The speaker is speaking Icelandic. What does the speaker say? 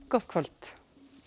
gott kvöld